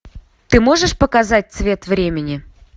ты можешь показать цвет времени